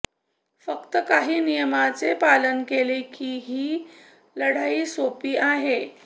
फक्त काही नियमांचे पालन केले की ही लढाई सोपी आहे